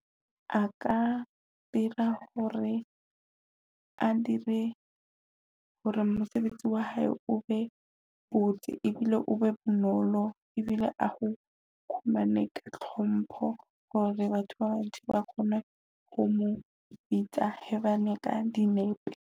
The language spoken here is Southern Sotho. A ka dira hore a dire hore mosebetsi wa hae o be botse ebile o be bonolo ebile ao khumane ka hlompho hore batho ba bantshi ba kgone ho mo bitsa hae bane ka dinepe.